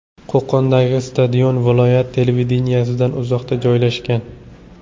Qo‘qondagi stadion viloyat televideniyesidan uzoqda joylashgan.